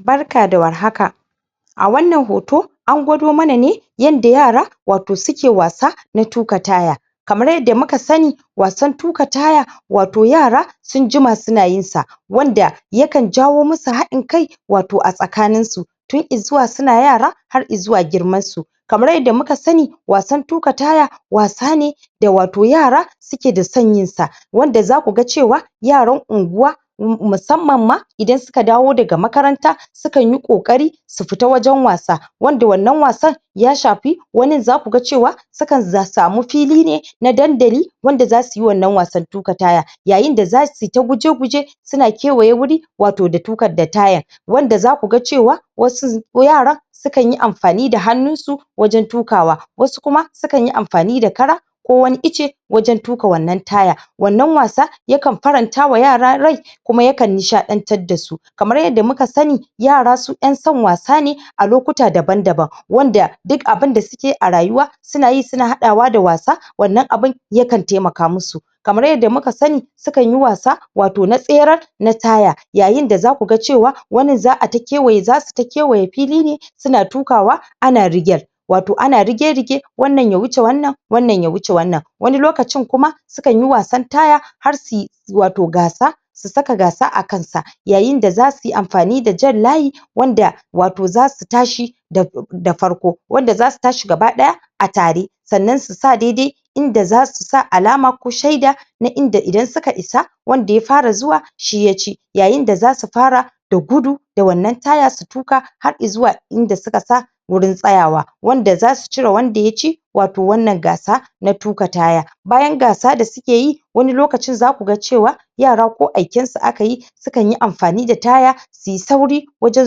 Barka da warhaka! a wannan hoto an gwado mana ne yanda yara wato suke wasa na tuka taya kamar yanda muka sanni wasan tuka taya wato yara sun jima suna yin sa wanda yakan jawo musu haɗin kai wato a tsakanin su tun izuwa suna yara har izuwa girman su kamar yanda muka sanni wasan tukan taya wasa ne da wato yara suke da san yin sa wanda zaku ga cewa yaran unguwa um musamman ma idan suka dawo daga makaranta sukanyi ƙoƙari su futa wajen wasa wanda wannan wasan ya shafi wannan zaku ga cewa sukan za samu fili ne na dandali wanda zasu yi wannan wasan tuka taya yayin da zasu ta guje-guje suna kewaye wuri wato da tukan da tayan wanda zaku ga cewa wasu ko yara sukan yi amfani da hannun su wajen tukawa wasu kuma sukan yi amfani da kara ko wani ice wajen tuka wannan taya wannan wasa yakan farantawa yara rai kuma ya kan nishaɗantar dasu kamar yadda muka sanni yara su ƴan san wasa ne a lokuta daban-daban wanda dik abunda suke a rayuwa suna yi suna haɗawa da wasa wannan abun yakan taimaka musu kamar yadda muka sanni sukan yi wasa wato na tserar na taya yayin da zaku ga cewa wannan za'a ta kewaye zasu ta kewaye fili ne suna ta tukawa ana rigyar wato ana rige-rige wannan ya wuce wannan wannan ya wuce wannan wani lokacin kuma sukan yi wasan taya har suyi wato gasa su saka gasa akan sa yayin da zasu yi amfani da jan layi wanda wato zasu tashi da da farko wanda zasu tashi gaba ɗaya a tare sannan su sa daidai inda zasu sa alama ko shaida na inda idan suka isa wanda ya fara zuwa shi yaci yayin da zasu fara da gudu da wannan taya su tuka har izuwa inda suka sa wurin tsayawa wanda zasu cire wanda yaci wato wannan gasa na tuka taya bayan gasa da suke yi wani lokacin zaku ga cewa yara ko aiken su akayi sukan yi amfani da taya sui sauri wajen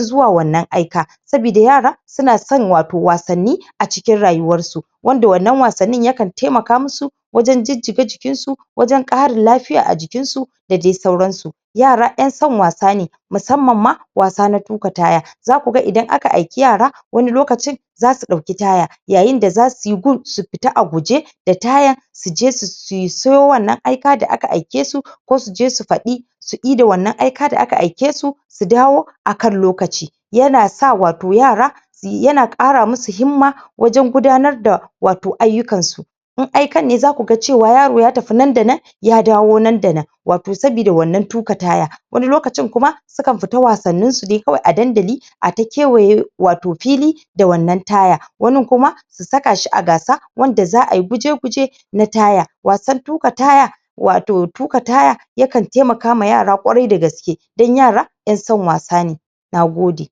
zuwa wannan aika sabida yara suna san wato wasanni acikin rayuwarsu wanda wannan wasannin yakan taimaka musu wajen jijjiga jikin su wajen ƙarin lafiya a jikinsu da dai sauran su yara ƴan san wasa ne musamman ma wasa na tuka taya zaku ga idan aka aiki yara wani lokacin zasu ɗauki taya yayin da zasu yi gun su fita a guje da tayan su je su sayo wannan aika da aka aike su ko su je su faɗi su ida wannan aika da aka aike su su dawo akan lokaci yana sa wato yara yana ƙara musu himma wajan gudanar da wato ayyukan su in aikan ne zaku ga cewa yaro ya tafi nan da nan ya dawo nan da nan wato sabida wannan tuka taya wani lokacin kuma sukan futa wasannin su dai kawai a dandali a ta kewayo wato fili da wannan taya wannan kuma su saka shi a gasa wanda za ai guje-guje na taya wasan tuka taya wato tuka taya yakan taimakawa yara ƙwarai da gaske dan yara ƴan san wasa ne Nagode!